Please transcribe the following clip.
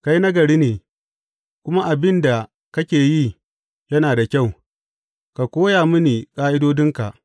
Kai nagari ne, kuma abin da kake yi yana da kyau; ka koya mini ƙa’idodinka.